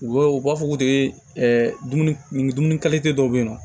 U bɛ u b'a fɔ ko de ɛ dumuni dumuni dɔw bɛ yen nɔ